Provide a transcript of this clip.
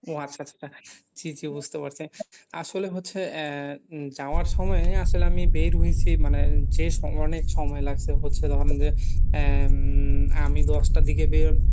ও আচ্ছা আচ্ছা, জি জি বুঝতে পারছি, আসলে হচ্ছে এ যাওয়ার সময় আসলে আমি বের হইছি মানে যেই সময় অনেক সময় লাগছে হচ্ছে ধরেন যে এ হম আমি দশটার দিকে বের